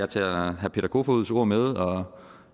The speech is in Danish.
tager herre peter kofods ord med og